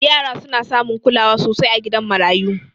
Yara suna samun kulawa sosai a gidan marayu